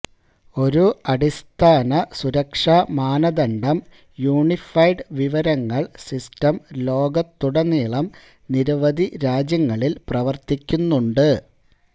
ഒരു അടിസ്ഥാന സുരക്ഷാ മാനദണ്ഡം യൂണിഫൈഡ് വിവരങ്ങൾ സിസ്റ്റം ലോകത്തുടനീളം നിരവധി രാജ്യങ്ങളിൽ പ്രവർത്തിക്കുന്നുണ്ട്